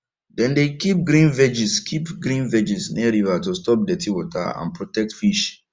dem dey keep green veggies keep green veggies near river to stop dirty water and protect fish